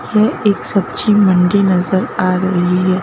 यह एक सब्जी मुंडी नजर आ रही है।